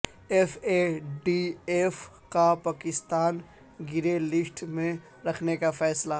F A T F کا پاکستان کو grey list میں رکھنے کا فیصلہ